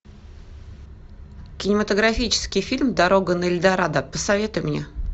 кинематографический фильм дорога на эльдорадо посоветуй мне